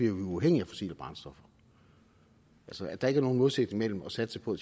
uafhængige af fossile brændsler altså at der ikke er nogen modsætning mellem at satse på